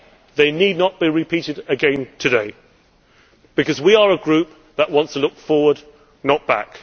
They need not be repeated again today, because we are a group that wants to look forward, not back.